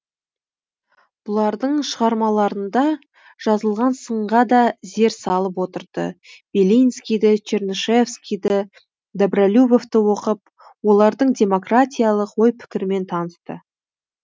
бұлардың шығармаларында жазылған сынға да зер салып отырды белинскийді чернышевскийді добролюбовты оқып олардың демократиялық ой пікірімен танысты